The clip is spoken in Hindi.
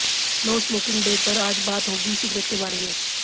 नो स्मोकिंग डे पर आज बात होगी सिगरेट के बारे में